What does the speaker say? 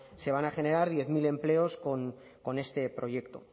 se van a generar diez mil empleos con este proyecto